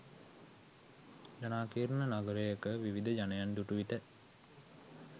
ජනාකීර්ණ නගරයක විවිධ ජනයන් දුටු විට